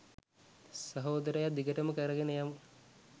සහෝදරයා! දිගටම කරගෙන යමු!